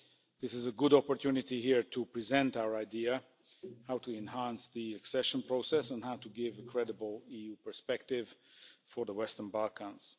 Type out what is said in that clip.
This is a good opportunity here to present our idea, how to enhance the accession process and how to give a credible EU perspective for the Western Balkans.